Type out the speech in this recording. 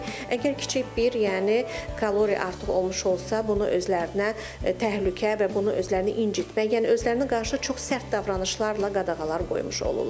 Əgər kiçik bir, yəni kalori artıq olmuş olsa, bunu özlərinə təhlükə və bunu özlərini incitmək, yəni özlərinə qarşı çox sərt davranışlarla qadağalar qoymuş olurlar.